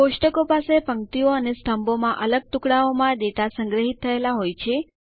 કોષ્ટકો પાસે પંક્તિઓ અને સ્તંભોમાં અલગ ટુકડાઓમાં ડેટા સંગ્રહિત થયેલા હોય છે